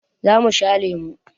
Za mu sha lemu.